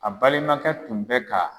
A balimakɛ tun bɛ ka